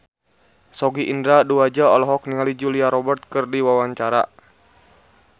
Sogi Indra Duaja olohok ningali Julia Robert keur diwawancara